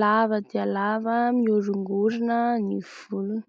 lava dia lava mihorongorona ny volony.